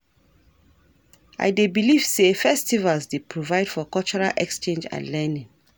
I dey believe say festivals dey provide for cultural exchange and learning.